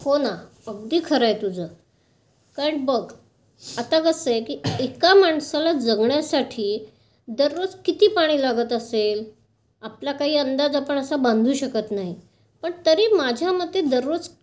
हो ना. अगदी खरं आहे तुझं. पण बघ. आता कसं आहे की एका माणसाला जगणयसाठी दररोज किती पाणी लागत असेल आपला काही अंदाज असा आपण बांधू शकत नाही. पण तरी माझ्यामते दररोज